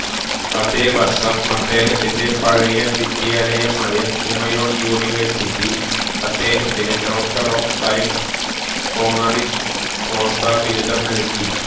അതേ വർഷം അദ്ദേഹത്തിന്റെ പഴയ വിദ്യാലയമായ കുമയോൺ യൂണിവേഴ്സിറ്റി അദ്ദേഹത്തിന് doctor of science honoris causa ബിരുദം നൽകി